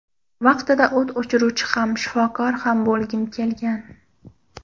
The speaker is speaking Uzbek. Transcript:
Vaqtida o‘t o‘chiruvchi ham, shifokor ham bo‘lgim kelgan.